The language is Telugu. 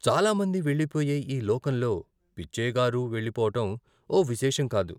చాలామంది వెళ్ళిపోయే ఈ లోకంలో పిచ్చయ్యగారు వెళ్ళి పోవటం ఓ విశేషం కాదు.